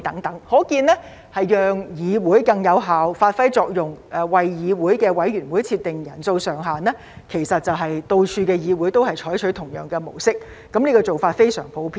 由此可見，為了讓議會更有效發揮作用，為議會委員會設定人數上限，到處的議會都採取同樣的模式，這做法非常普遍。